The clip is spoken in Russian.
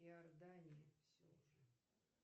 иордания все уже